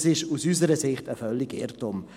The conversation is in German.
Das ist aus unserer Sicht ein völliger Irrtum.